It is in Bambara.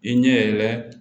I ɲɛ yɛrɛ